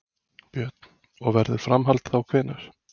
Björn: Og verður framhald þá hvenær?